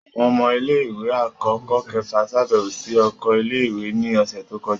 Awọn ọmọ ile-iwe akọkọ kẹfa ṣabẹwo si oko ile-iwe ni ọsẹ to kọja.